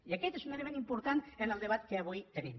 i aquest és un element important en el debat que avui tenim